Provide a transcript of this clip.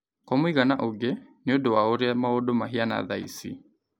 kwa mũigana ũngĩ, nĩ ũndũ wa ũrĩa maũndũ mahiana thaa ici.